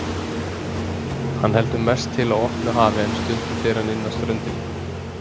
Hann heldur mest til á opnu hafi en stundum fer hann inn að ströndinni.